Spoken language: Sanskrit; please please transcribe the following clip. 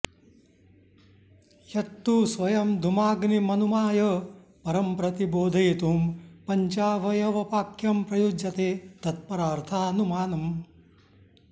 यत्तु स्वयं धुमाग्निमनुमाय परंप्रतिबोधयितुं पञ्चावयव वाक्यं प्रयुज्यते तत्परार्थानुमानम्